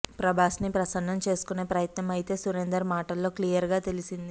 ప్రభాస్ని ప్రసన్నం చేసుకునే ప్రయత్నం అయితే సురేందర్ మాటల్లో క్లియర్గా తెలిసింది